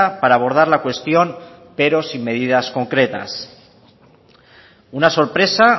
para abordar la cuestión pero sin medidas concretas una sorpresa